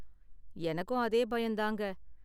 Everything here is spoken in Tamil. எனக்கும் அதே பயம் தாங்க.